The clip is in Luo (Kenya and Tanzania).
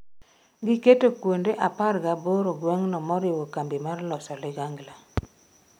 Gigeto kuonde apar gaboro gweng'no moriwo kambi mar loso ligangla